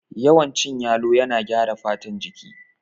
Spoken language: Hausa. Yawan cin yalo yana gyara fatan jiki